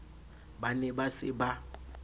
ba ne ba se ba